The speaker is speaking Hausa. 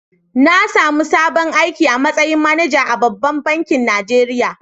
Na samu sabon aiki a mastayin managa a ɓabbank bankin Najeriya.